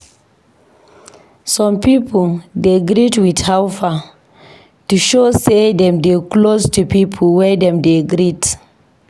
Some pipo dey greet with "How far?" to show sey dem dey close to pipo wey dem dey greet.